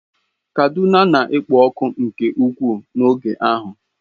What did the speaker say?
Kaduna na-ekpo ọkụ nke ukwuu n'oge ahụ.